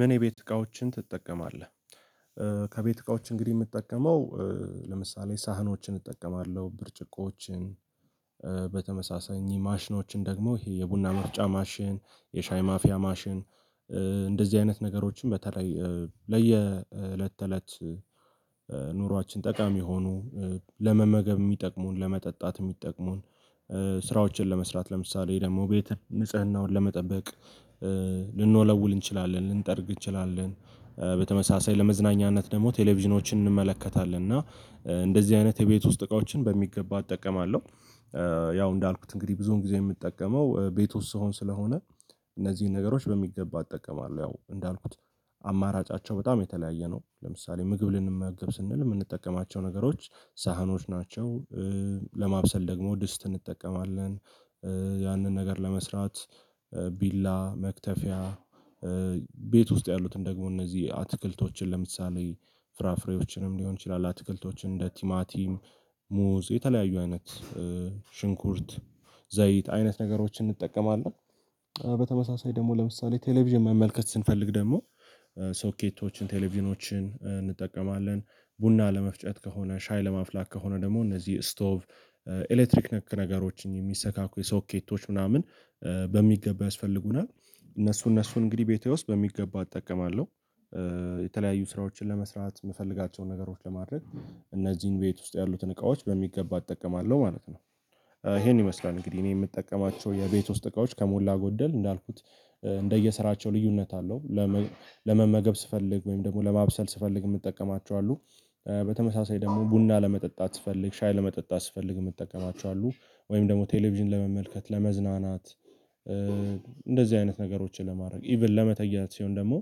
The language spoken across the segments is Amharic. ምን የቤት እቃዎችን ትጠቀማለህ? ከቤት እቃዎች እንግዲህ የምጠቀመው ለምሳሌ ሳህኖችን እጠቀማለሁ ብርጭቆዎችን በተመሳሳኝ ማሽኖችን ደግሞ ይሄ የቡና መፍጫ ማሽን የሻይ ማፊያ ማሽን እንደዚህ አይነት ነገሮችን በተለይ ለየእለት ተእለት ኑሯችን ጠቃሚ ሆኖ ለመመገብ የሚጠቅሙን ለመጠጣት የሚጠቅሙን ስራዎችን ለመስራት ለምሳሌ ደግሞ ቤት ንጽህናውን ለመጠበቅ ልንወለውል እንችላለን ልንጠርግ እንችላለን በተመሳሳይ ለመዝናኛነት ደግሞ ቴሌቪዥኖችን እንመለከታለን እና እንደዚህ አይነት የቤት ውስጥ እቃዎችን በሚገባ እጠቀማለሁ ያው እንዳልኩት እንግዲህ ብዙን ጊዜ የምጠቀመው ቤት ውስጥ ስሆን ስለሆነ እነዚህን ነገሮች በሚገባ እጠቀማለሁ ያው እንዳልኩት አማራጫቸው በጣም የተለያየ ነው ለምሳሌ ምግብ ልንመገብ ስንል የምንጠቀማቸው ነገሮች ሳህኖች ናቸው ለማብሰል ደግሞ ድስት እንጠቀማለን ያንን ነገር ለመስራት ቢላ መክተፊያ ቤት ውስጥ ያሉትን ደግሞ እነዚህ አትክልቶችን ለምሳሌ ፍራፍሬዎችንም ሊሆን ይችላል አትክልቶችን እንደ ቲማቲም ሙዝ የተለያዩ አይነት ሽንኩርት ዘይት አይነት ነገሮችን እንጠቀማለን በተመሳሳይ ደግሞ ለምሳሌ ቴሌቪዥን መመልከት ስንፈልግ ደግሞ ሶኬቶችን ቴሌቪዥኖችን እንጠቀማለን ቡና ለመፍጨት ከሆነ ሻይ ለማፍላት ከሆነ ደግሞ እነዚህ ስቶቭ ኤሌክትሪክ ነክ ነገሮችን የሚሰካኩ የሶኬቶች ምናምን በሚገባ ያስፈልጉናል እነሱ እነሱን እንግዲህ ቤቴ ውስጥ በሚገባ እጠቀማለሁ የተለያዩ ስራዎችን ለመስራት የምፈልጋቸውን ነገሮች ለማድረግ እነዚህን ቤት ውስጥ ያሉትን እቃዎች በሚገባ እጠቀማለሁ ማለት ነው። ይሄን ይመስላል እንግዲህ እኔ የምጠቀማቸው የቤት ውስጥ እቃዎች ከሞላ ጎደል እንዳልኩት እንደየስራቸው ልዩነት አለው ለመመገብ ስፈልግ ወይም ደግሞ ለማብሰል ስፈልግ የምጠቀማቸው አሉ በተመሳሳይ ደግሞ ቡና ለመጠጣት ስፈልግ ሻይ ለመጠጣት ስፈልግ የምጠቀማቸዋል ወይም ደግሞ ቴሌቪዥን ለመመልከት ለመዝናናት እንደዚህ አይነት ነገሮችን ለማድረግ ኢቭን ለመተያየት ሲሆን ደግሞ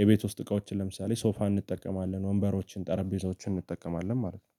የቤት ውስጥ እቃዎችን ለምሳሌ ሶፋ እንጠቀማለን ወንበሮችን ጠረጴዛዎችን እንጠቀማለን ማለት ነው